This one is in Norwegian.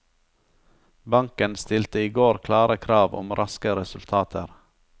Banken stilte i går klare krav om raske resultater.